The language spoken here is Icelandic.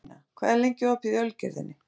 Arína, hvað er lengi opið í Ölgerðinni?